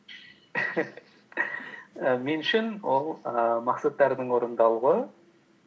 і мен үшін ол і мақсаттардың орындалуы